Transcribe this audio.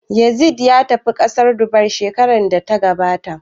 Yazid ya tafi ƙasar Dubai shekarar da ta gabata